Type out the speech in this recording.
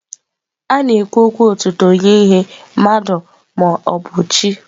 A na-ekwu okwu otuto nye ihe, mmadụ ma ọ bụ chi.